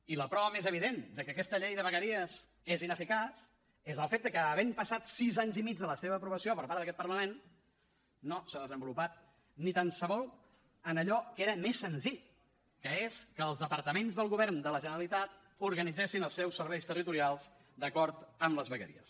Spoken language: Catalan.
i la prova més evident de que aquesta llei de vegueries és ineficaç és el fet de que havent passat sis anys i mig de la seva aprovació per part d’aquest parlament no s’ha desenvolupat ni tan sols en allò que era més senzill que és que els departaments del govern de la generalitat organitzessin els seus serveis territorials d’acord amb les vegueries